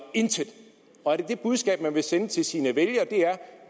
intet og er det budskab man vil sende til sine vælgere